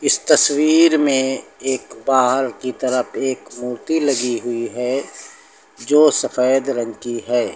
इस तस्वीर में एक बाहर की तरफ एक मूर्ति लगी हुई है जो सफेद रंग की है।